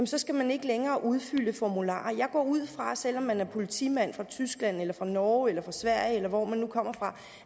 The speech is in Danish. så skal man ikke længere udfylde formularer jeg går ud fra at selv om man er politimand fra tyskland eller fra norge eller fra sverige eller hvor man nu kommer fra